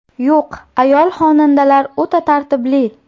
Yo‘q, ayol xonandalar o‘ta tartibli.